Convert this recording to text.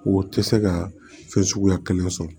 O tɛ se ka fɛn suguya kelen sɔrɔ